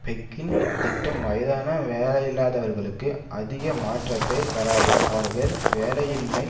பெக்கின் திட்டம் வயதான வேலையில்லாதவர்களுக்கு அதிக மாற்றத்தைத் தராது அவர்கள் வேலையின்மை